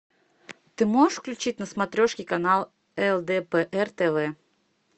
ты можешь включить на смотрешке канал лдпр тв